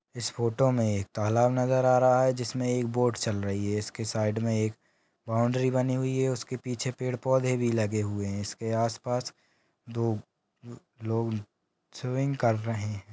इस फोटो में एक तालाब नजर आ रहा है जिसमे एक बोट चल रही है इसके साइड में एक बॉउंड्री बनी हुई है उसके पीछे-पेड़ पौधे भी लगे हुए है इसके आसपास दो लो लोग स्विमिंग कर रहे है।